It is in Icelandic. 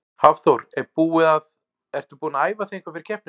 Hafþór: Er búið að, ertu búin að æfa þig eitthvað fyrir keppnina?